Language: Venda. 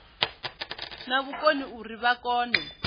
na vhukoni uri vha kone